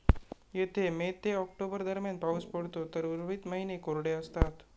येथे मे ते ऑक्टोबर दरम्यान पाऊस पडतो तर उर्वरित महिने कोरडे असतात.